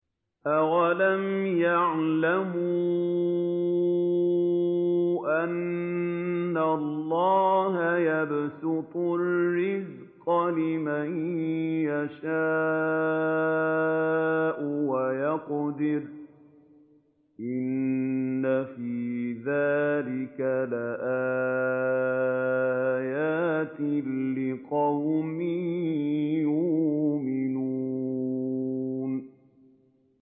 أَوَلَمْ يَعْلَمُوا أَنَّ اللَّهَ يَبْسُطُ الرِّزْقَ لِمَن يَشَاءُ وَيَقْدِرُ ۚ إِنَّ فِي ذَٰلِكَ لَآيَاتٍ لِّقَوْمٍ يُؤْمِنُونَ